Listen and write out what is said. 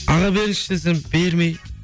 аға беріңізші десем бермей